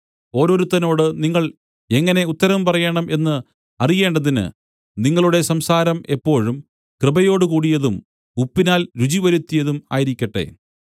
ഓരോരുത്തനോട് നിങ്ങൾ എങ്ങനെ ഉത്തരം പറയേണം എന്ന് അറിയേണ്ടതിന് നിങ്ങളുടെ സംസാരം എപ്പോഴും കൃപയോടുകൂടിയതും ഉപ്പിനാൽ രുചിവരുത്തിയതും ആയിരിക്കട്ടെ